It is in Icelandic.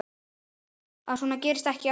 Að svona gerist ekki aftur.